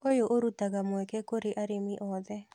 ũyũ ũrutaga mweke kũrĩ arĩmi othe